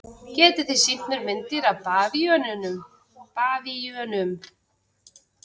Getið þið sýnt mér myndir af bavíönum?